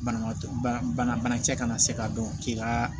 Banabaatɔ bana banakisɛ kana se ka dɔn k'i ka